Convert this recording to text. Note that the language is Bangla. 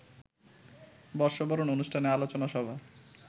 বর্ষবরণ অনুষ্ঠানে আলোচনা সভা